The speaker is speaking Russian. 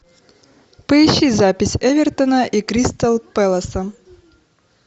поищи запись эвертона и кристал пэласа